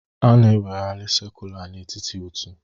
A na-eweghari sacula n'etiti otu